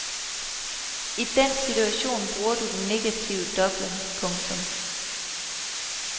I den situation bruger du den negative dobling. punktum